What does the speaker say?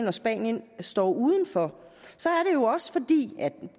og spanien står udenfor er